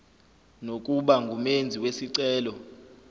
nokuba ngumenzi wesicelo